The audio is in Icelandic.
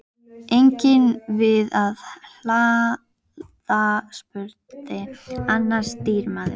Eigum við að hlaða? spurði annar stýrimaður.